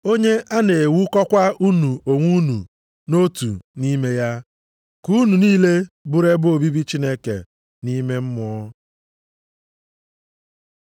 Onye a na-ewukọkwa unu onwe unu nʼotu nʼime ya, ka unu niile bụrụ ebe obibi Chineke nʼime Mmụọ.